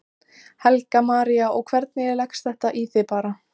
Helga María: Og hvernig leggst þetta í þig bara?